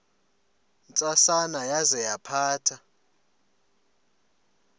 ntsasana yaza yaphatha